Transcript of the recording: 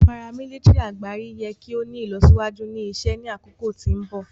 paramilitary agbari yẹ ki o ni ilọsiwaju ni isẹ ni akoko ti mbọ.